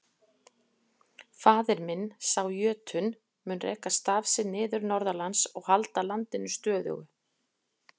Faðir minn, sá jötunn, mun reka staf sinn niður norðanlands og halda landinu stöðugu.